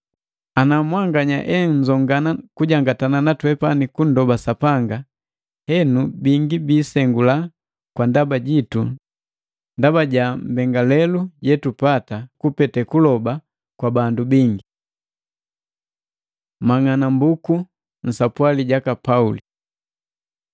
Ana mwanganya enzongana kujangatana natwepani kundoba Sapanga, henu bingi bisengula kwa ndaba jitu ndaba ja mbengalelu yetupata kupete kuloba kwa bandu bingi. Mang'anambuku nsapwali jaka Pauli